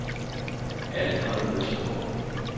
Alfred Østergaard